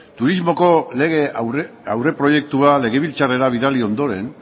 turismoko lege aurreproiektua legebiltzarrera bidali ondoren